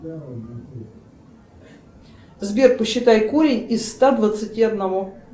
сбер посчитай корень из ста двадцать одного